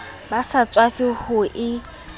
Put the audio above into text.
ba sa tswafe ho e